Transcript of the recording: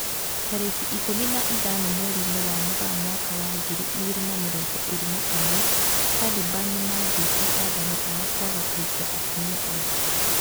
Tariki ikũmi na ithano mweri-inĩ wa Mũgaa mwaka wa ngiri igĩrĩ na mĩrongo ĩrĩ na ũmwe, Taliban nĩmathĩte athani ao kwaga kũhikia atumia aingĩ